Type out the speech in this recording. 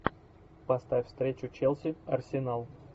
поставь встречу челси арсенал